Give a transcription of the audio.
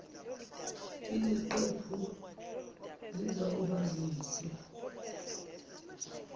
yiziqephu zizawuba zinde